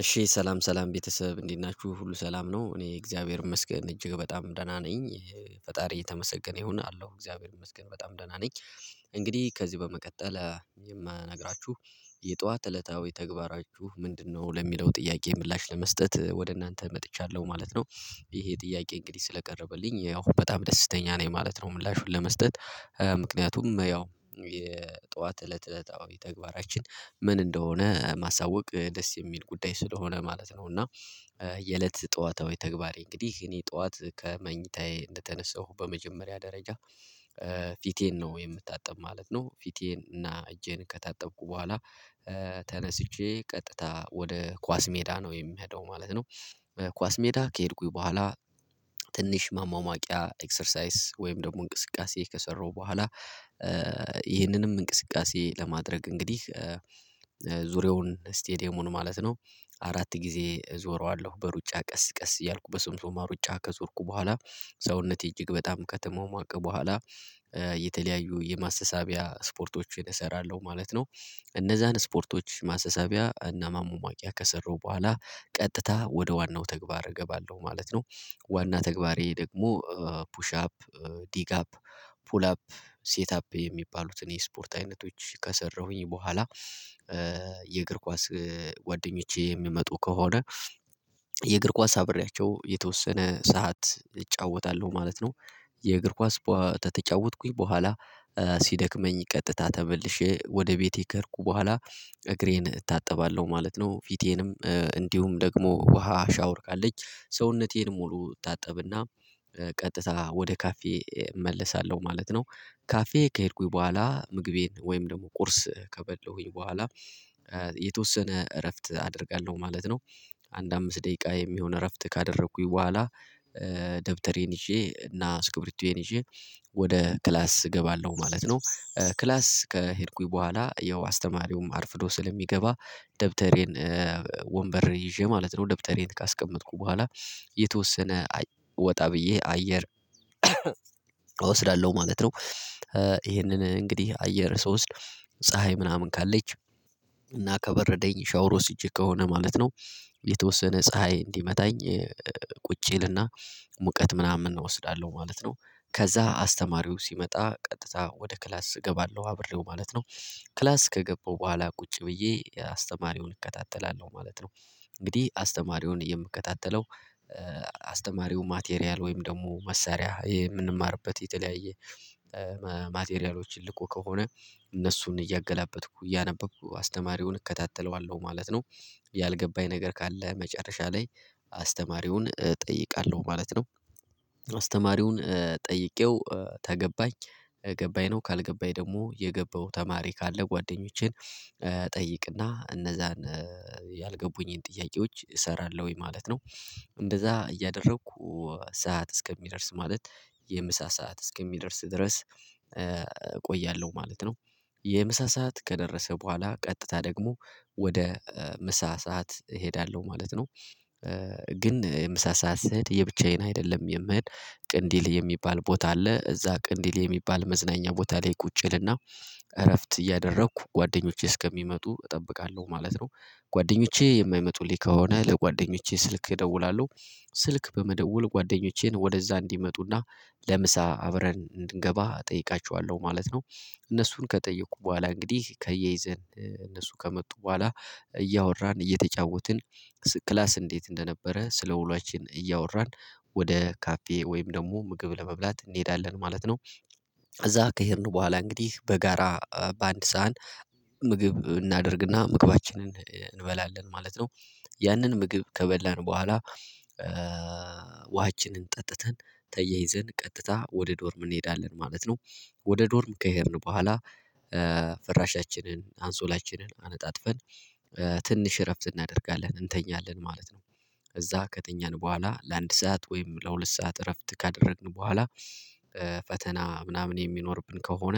እሺ ሰላም ሰላም ቤተሰብ እንዴት ናችሁ ሁሉ ሰላም ነው እኔ እግዚአብሔር ይመስገን እጅግ በጣም ደህና ነኝ። ፈጣሪ እየተመሰገነ ይሁን አለው እግዚአብሔር ይመስገን በጣም ደህና ነኝ። እንግዲህ ከዚህ በመቀጠል የማናግራችሁ የጧት እለታዊ ተግባራችሁ ምንድነው ለሚለው ጥያቄ ምላሽ ለመስጠት ወደ እናንተ መጥቻለሁ ማለት ነው። ይሄ ጥያቄ እንግዲህ ስለቀረበልኝ ያው በጣም ደስተኛ ነኝ ማለት ነው። ምላሹን ለመስጠት ምክንያቱም ያው የጠዋት እለት እለታዊ ተግባራችን ምን እንደሆነ ማሳወቅ ደስ የሚል ጉዳይ ስለሆነ ማለት ነው። እና የእለት ጠዋታዊ ተግባሬ እንግዲህ እኔ ጠዋት ከመኝታዬ እንደተነሳሁ በመጀመሪያ ደረጃ ፊቴን ነው የምታጠብ ማለት ነው። ፊቴን እና እጄን ከታጠብኩ በኋላ ተነስቼ ቀጥታ ወደ ኳስ ሜዳ ነው የምሄደው ማለት ነው። ኳስ ሜዳ ከሄድኩኝ በኋላ ትንሽ ማሞሞቂያ ኤክሰርሳይዝ ወይም ደግሞ እንቅስቃሴ ከሰራሁ በኋላ ይህንንም እንቅስቃሴ ለማድረግ እንግዲህ ዙሪያውን ስቴዲየሙን ማለት ነው። አራት ጊዜ እዞረዋለሁ በሩጫ ቀስ ቀስ እያልኩ በሶምሶማ ሩጫ ከዞርኩ በኋላ ሰውነቴ እጅግ በጣም ከተሟሟቀ በኋላ የተለያዩ የማሰሳቢያ ስፖርቶችን እሰራለሁ ማለት ነው። እነዛን ስፖርቶች ማሰሳቢያ እና ማሟሟቂያ ከሰሩ በኋላ ቀጥታ ወደ ዋናው ተግባር እገባለሁ ማለት ነው። ዋና ተግባሬ ደግሞ ፑሽ አፕ ዲግ አፕ ፑል አፕ ሴት አፕ የሚባሉትን የስፖርት አይነቶች ከሰራሁኝ በኋላ። የእግር ኳስ ጓደኞቼ የሚመጡ ከሆነ የእግር ኳስ አብሬያቸው የተወሰነ ሰዓት እጫወታለሁ ማለት ነው። የእግር ኳስ ተተጫወትኩኝ በኋላ ሲደክመኝ ቀጥታ ተመልሼ ወደ ቤቴ ከሄድኩ በኋላ እግሬን እታጠባለሁ ማለት ነው። ፊቴንም እንዲሁም ደግሞ ውሃ ሻወር ካለች ሰውነቴን ሙሉ እታጠብና ቀጥታ ወደ ካፌ እመለሳለሁ ማለት ነው። ካፌ ከሄድኩኝ በኋላ ምግቤን ወይም ደግሞ ቁርስ ከበለሁኝ በኋላ የተወሰነ እረፍት አደርጋለሁ ማለት ነው። አንድ አምስት ደቂቃ የሚሆን እረፍት ካደረኩኝ በኋላ ደብተሬን ይዤ እና ስክሪፕቶዬን ወደ ክላስ እገባለሁ ማለት ነው። ክላስ ከሄድኩኝ በኋላ ያው አስተማሪውም አርፍዶ ስለሚገባ ደብተሬን ወንበር ይዤ ማለት ነው ደብተሬን ካስቀመጥኩ በኋላ የተወሰነ ወጣ ብዬ አየር እወስዳለሁ ማለት ነው። ይሄንን እንግዲህ አየር ስወስድ ፀሀይ ምናምን ካለች እና ከበረደኝ ሻወር ወስጄ ከሆነ ማለት ነው የተወሰነ ፀሀይ እንዲመታኝ ቁጭ እልና ሙቀት ምናምን እወስዳለሁ ማለት ነው። ከዛ አስተማሪው ሲመጣ ቀጥታ ወደ ክላስ እገባለሁ አብሬው ማለት ነው። ክላስ ከገባው በኋላ ቁጭ ብዬ አስተማሪውን እከታተላለሁ ማለት ነው። እንግዲህ አስተማሪውን የምከታተለው አስተማሪው ማቴሪያል ወይም ደግሞ መሳሪያ የምንማርበት የተለያየ ማቴሪያሎች ልኮ ከሆነ እነሱን እያገላበጥኩ እያነበብኩ አስተማሪውን እከታተለዋለሁ ማለት ነው። ያልገባኝ ነገር ካለ መጨረሻ ላይ አስተማሪውን እጠይቃለሁ ማለት ነው። አስተማሪውን ጠይቄው ተገባኝ ገባኝ ነው ካልገባኝ ደግሞ የገባው ተማሪ ካለ ጓደኞቼን እጠይቅና እነዛን ያልገቡኝን ጥያቄዎች እሰራለሁኝ ማለት ነው። እንደዛ እያደረኩ ሰዓት እስከሚደርስ ማለት የምሳ ሰዓት እስከሚደርስ ድረስ እቆያለሁ ማለት ነው። የምሳ ሰዓት ከደረሰ በኋላ ቀጥታ ደግሞ ወደ ምሳ ሰዓት እሄዳለሁ ማለት ነው። ግን የምሳ ሰዓት ስሄድ የብቻዬን አይደለም የምሄድ ቅንዲሌ የሚባል ቦታ አለ እዛ ቅንዲሌ የሚባል መዝናኛ ቦታ ላይ ቁጭ እልና እረፍት እያደረኩ ጓደኞቼ እስከሚመጡ እጠብቃለሁ ማለት ነው። ጓደኞቼ የማይመጡልኝ ከሆነ ለጓደኞቼ ስልክ እደውላለሁ ስልክ በመደወል ጓደኞቼን ወደዛ እንዲመጡና ለምሳ አብረን እንድገባ እጠይቃቸዋለሁ ማለት ነው። እነሱን ከጠየኩ በኋላ እንግዲህ ከያይዘን እነሱ ከመጡ በኋላ እያወራን እየተጫወትን ክላስ እንዴት እንደነበረ ስለውሏችን እያወራን ወደ ካፌ ወይም ደግሞ ምግብ ለመብላት እንሄዳለን ማለት ነው። እዛ ከሄድን በኋላ እንግዲህ በጋራ በአንድ ሳህን ምግብ እናደርግና ምግባችንን እንበላለን ማለት ነው። ያንን ምግብ ከበላን በኋላ ውሃችንን ጠጥተን ተያይዘን ቀጥታ ወደ ዶርም እንሄዳለን ማለት ነው። ወደ ዶርም ከሄድን በኋላ ፍራሻችንን አንሶላችንን አነጣጥፈን ትንሽ እረፍት እናደርጋለን እንተኛለን ማለት ነው። እዛ ከተኛን በኋላ ለአንድ ሰዓት ወይም ለሁለት ሰዓት እረፍት ካደረግን በኋላ ፈተና ምናምን የሚኖርብን ከሆነ